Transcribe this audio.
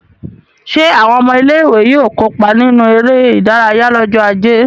Ṣé àwọn ọmọ ilé-ìwé yóò kópa nínú eré-idárayá lọ́jọ́ ajé?